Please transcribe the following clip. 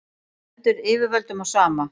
stendur yfirvöldum á sama